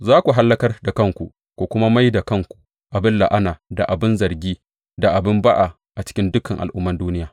Za ku hallakar da kanku ku kuma mai da kanku abin la’ana da abin zargi da abin ba’a a cikin dukan al’umman duniya.